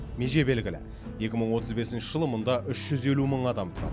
меже белгілі екі мың отыз бесінші жылы мұнда үш жүз елу мың адам тұрады